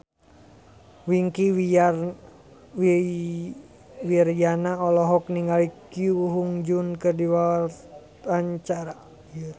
Wingky Wiryawan olohok ningali Ko Hyun Jung keur diwawancara